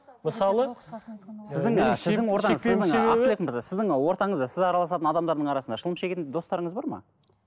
сіздің ортаңызда сіз араласатын адамдардың арасында шылым шегетін достарыңыз бар ма